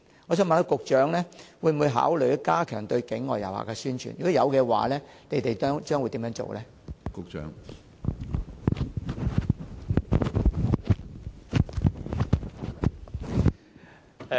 我想問局長，會否考慮加強對境外旅客的宣傳；若有，當局將會怎樣做？